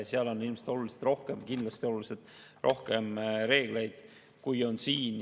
Selles on kindlasti oluliselt rohkem reegleid kui siin.